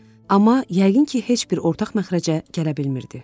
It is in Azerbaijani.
Amma yəqin ki, heç bir ortaq məxrəcə gələ bilmirdi.